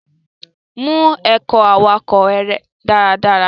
Mu ẹ̀kọ́ awakọ rẹ daradara.